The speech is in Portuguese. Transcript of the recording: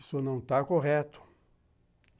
Isso não está correto.